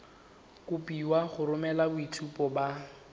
kopiwa go romela boitshupo ba